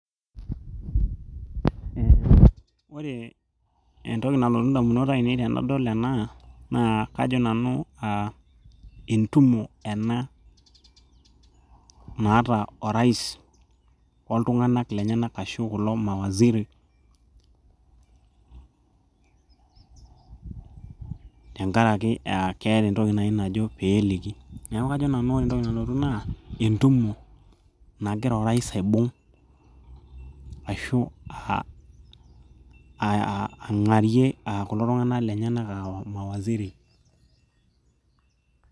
eh, ore entoki nalotu indamunot ainei tenadol ena naa kajo nanu uh entumo ena naata orais oltung'anak lenyenak ashu kulo mawaziritenkarake uh keeta entoki naaji najo peeliki neeku kajo nanu naa entumo nagira orais aibung ashu uh ang'arie kulo tung'anak lenyenak uh mawaziri.